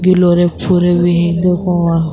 چھوڑے ہوئے ہے دیکھو وہا --